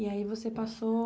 E aí você passou